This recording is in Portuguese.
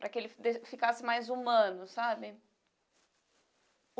Para que ele ficasse mais humano, sabe?